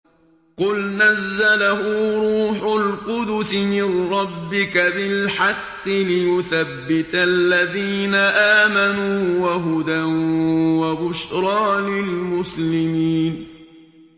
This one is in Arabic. قُلْ نَزَّلَهُ رُوحُ الْقُدُسِ مِن رَّبِّكَ بِالْحَقِّ لِيُثَبِّتَ الَّذِينَ آمَنُوا وَهُدًى وَبُشْرَىٰ لِلْمُسْلِمِينَ